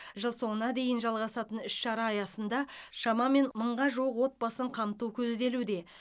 жыл соңына дейін жалғасатын іс шара аясында шамамен мыңға жуық отбасын қамту көзделуде